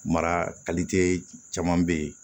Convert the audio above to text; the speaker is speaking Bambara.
Mara caman bɛ yen